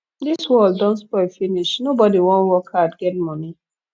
dis world don spoil finish nobody wan work hard get money